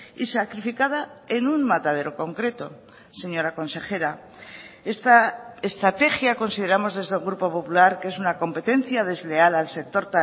y sacrificada en un matadero concreto señora consejera esta estrategia consideramos desde el grupo popular que es una competencia desleal al sector